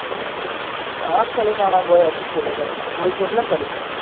ആ കളി കാണാൻ പോയ അടിപൊളി ആക്കാരം കോയിക്കോട്ടിൽ ആണ് കളി